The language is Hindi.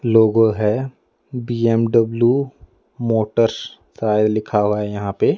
लोगो है बी_एम_डब्लू मोटर्स सारे लिखा हुआ है यहां पे।